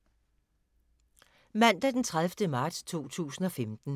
Mandag d. 30. marts 2015